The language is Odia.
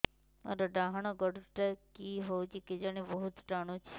ମୋର୍ ଡାହାଣ୍ ଗୋଡ଼ଟା କି ହଉଚି କେଜାଣେ ବହୁତ୍ ଟାଣୁଛି